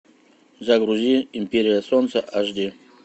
загрузи империя солнца аш ди